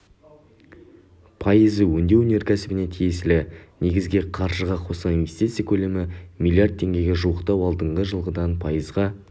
пайызы өңдеу өнеркәсібіне тиесілі негізгі қаржыға қосылған инвестиция көлемі млрд теңгеге жуықтап алдыңғы жылғыдан пайызға